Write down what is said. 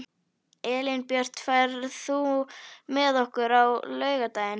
Elínbjört, ferð þú með okkur á laugardaginn?